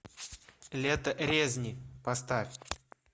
лето резни поставь